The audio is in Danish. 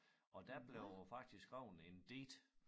Og der blev faktisk skrevet en digt